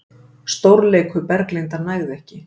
Stórleikur Berglindar nægði ekki